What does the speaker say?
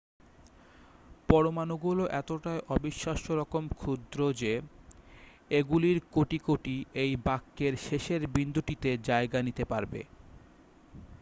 পরমাণুগুলো এতটাই অবিশ্বাস্যরকম ক্ষুদ্র যে এগুলির কোটি কোটি এই বাক্যের শেষের বিন্দুটিতে জায়গা নিতে পারবে